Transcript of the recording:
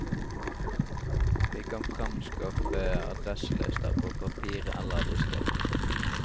Vi kan fremskaffe addreselister på papir eller diskett.